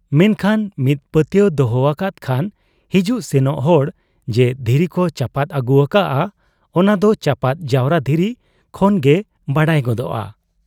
ᱢᱮᱱᱠᱷᱟᱱ ᱢᱤᱫ ᱯᱟᱹᱛᱭᱟᱹᱣ ᱫᱚᱦᱚ ᱟᱠᱟᱫ ᱠᱷᱟᱱ ᱦᱤᱡᱩᱜ ᱥᱮᱱᱚᱜ ᱦᱚᱲ ᱡᱮ ᱫᱷᱤᱨᱤ ᱠᱚ ᱪᱟᱯᱟᱫ ᱟᱹᱜᱩ ᱟᱠᱟᱜ ᱟ, ᱚᱱᱟᱫᱚ ᱪᱟᱯᱟᱫ ᱡᱟᱣᱨᱟ ᱫᱷᱤᱨᱤ ᱠᱷᱚᱱᱜᱮ ᱵᱟᱰᱟᱭ ᱜᱚᱫᱚᱜ ᱟ ᱾